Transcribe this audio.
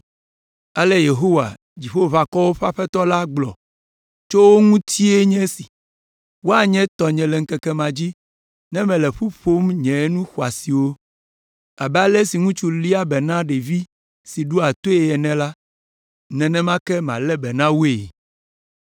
Ale Yehowa, Dziƒoʋakɔwo ƒe Aƒetɔ la gblɔ tso wo ŋutie nye esi: “Woanye tɔnye le ŋkeke ma dzi ne mele ƒu ƒom nye nu xɔasiwo. Abe ale si ŋutsu léa be na ɖevi si ɖoa toe ene la, nenema ke malé be na woe.